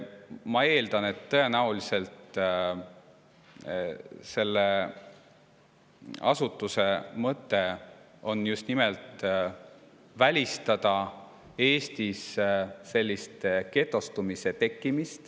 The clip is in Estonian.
Ma eeldan, et tõenäoliselt selle asutuse mõte on just nimelt välistada Eestis sellist getostumist.